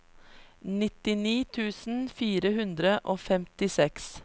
nittini tusen fire hundre og femtiseks